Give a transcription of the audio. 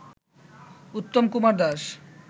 Uttam Kumar Das